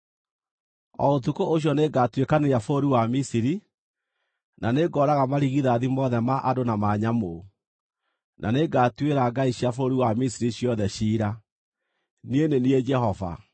“O ũtukũ ũcio nĩngatuĩkanĩria bũrũri wa Misiri, na nĩngooraga marigithathi mothe ma andũ na ma nyamũ, na nĩngatuĩra ngai cia bũrũri wa Misiri ciothe ciira. Niĩ nĩ niĩ Jehova.